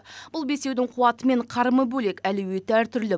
бұл бесеудің қуаты мен қарымы бөлек әлеуеті әртүрлі